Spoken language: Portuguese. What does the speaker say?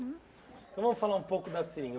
Então vamos falar um pouco da seringa.